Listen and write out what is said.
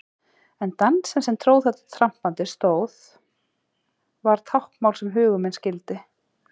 En dansinn sem tróð þetta trampandi stóð var táknmál sem hugur minn skildi.